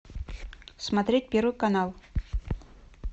смотреть первый канал